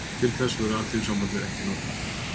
Til þess verður Alþýðusambandið ekki notað